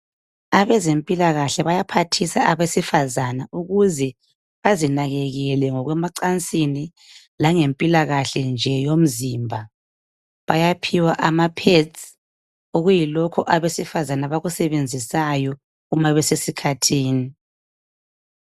Abezempilalakahle bayaphathisa abesifazana ukuze bazinakekele ngokwemancansini langempilakahle nje yomzimba. Bayaphiwa ama pads okuyilokhu abesifazana abakusebenzisayo uma besesikhathini.